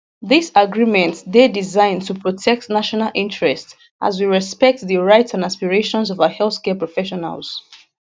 dis agreements dey designed to protect national interests as we respect di rights and aspirations of our healthcare professionals